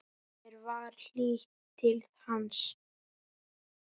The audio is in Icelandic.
Mér var hlýtt til hans.